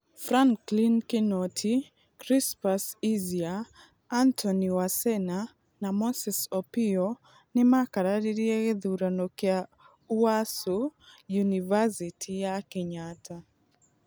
Franklin Kinoti, Chrispus Easier, Antony Wasena, na Moses Opiyo nĩ maakararirie gĩthurano kĩa ũasu, ũniversity ya Kenyatta.